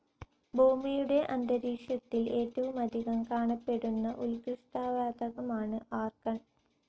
ഭൂമിയുടെ അന്തരീക്ഷത്തിൽ ഏറ്റവുമധികം കാണപ്പെടുന്ന ഉൽക്കൃഷ്ടവാതകമാണ് ആർഗൺ.